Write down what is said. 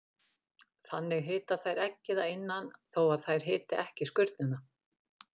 Þannig hita þær eggið að innan þó að þær hiti ekki skurnina.